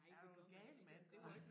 Nej det gør man ikke man gør